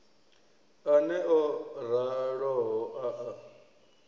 aneo o raloho a a